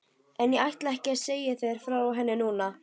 En ég ætla ekki að segja þér frá henni núna.